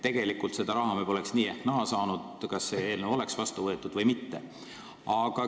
Tegelikult seda raha me poleks nii ehk naa saanud, kas see eelnõu võetakse vastu või mitte.